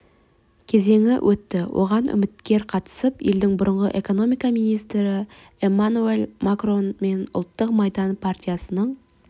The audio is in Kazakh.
кезеңі өтті оған үміткер қатысып елдің бұрынғы экономика министрі эммануэль макрон мен ұлттық майдан партиясының